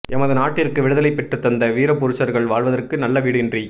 எமது நாட்டிற்கு விடுதலை பெற்றுத்தந்த வீரபுருஷர்கள் வாழ்வதற்கு நல்ல வீடு இன்றி